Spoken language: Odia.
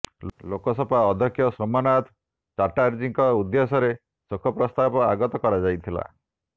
ଲୋକସଭା ଅଧ୍ୟକ୍ଷ ସୋମନାଥ ଚାଟାର୍ଜୀଙ୍କ ଉଦ୍ଦେଶ୍ୟରେ ଶୋକ ପ୍ରସ୍ତାବ ଆଗତ କରାଯାଇଥିଲା